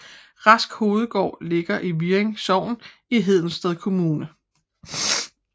Rask Hovedgård ligger i Hvirring Sogn i Hedensted Kommune